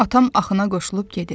Atam axına qoşulub gedir.